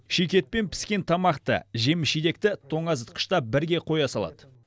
шикі ет пен піскен тамақты жеміс жидекті тоңазытқышта бірге қоя салады